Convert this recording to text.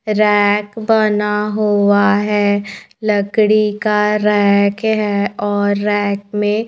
Rack बना हुआ है। लकड़ी का रैक है और रैक में--